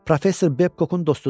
Professor Bebkokun dostudur.